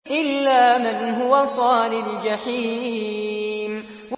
إِلَّا مَنْ هُوَ صَالِ الْجَحِيمِ